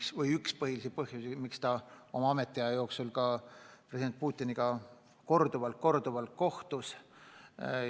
See oli üks põhilisi põhjusi, miks Abe oma ametiaja jooksul president Putiniga korduvalt kohtus.